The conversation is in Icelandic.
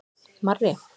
Marri